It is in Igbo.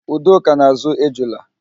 Udoka na-ázụ̀ ejula.